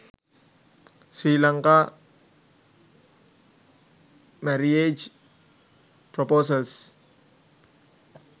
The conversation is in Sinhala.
sri lanka marriage proposals